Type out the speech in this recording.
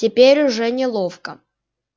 теперь уже неловко